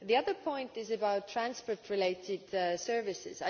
The other point is about transport related services.